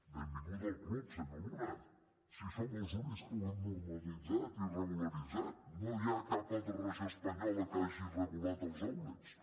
benvingut al club senyor luna si som els únics que ho hem normalitzat i regularitzat no hi ha cap altra regió espanyola que hagi regulat els outlets